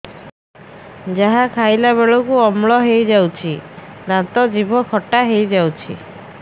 ଯାହା ଖାଇଲା ବେଳକୁ ଅମ୍ଳ ହେଇଯାଉଛି ଦାନ୍ତ ଜିଭ ଖଟା ହେଇଯାଉଛି